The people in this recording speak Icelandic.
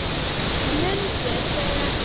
Mundu þegar